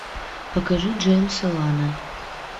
покажи джеймса вана